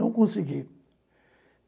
Não consegui.